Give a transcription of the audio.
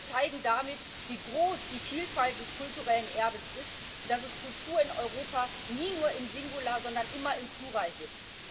Wir zeigen damit, wie groß die Vielfalt des kulturellen Erbes ist und dass es Kultur in Europa nie nur im Singular, sondern immer im Plural gibt.